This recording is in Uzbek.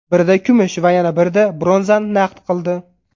Birida kumush va yana birida bronzani naqd qildi.